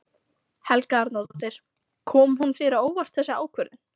Helga Arnardóttir: Kom hún þér á óvart þessi ákvörðun?